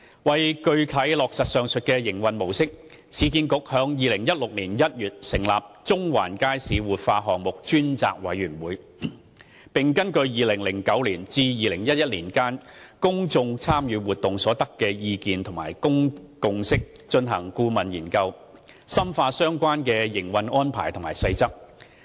為具體落實上述營運模式，市建局於2016年1月成立中環街市活化項目專責委員會，並根據2009年至2011年間公眾參與活動所得的意見和共識進行顧問研究，深化相關的營運安排及細則。